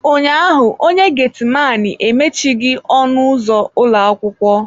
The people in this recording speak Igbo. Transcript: Ụnyaahụ onye geti maanu emechighị ọnụ ụzọ ụlọ akwụkwọ.